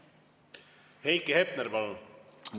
Heiki Hepner, palun!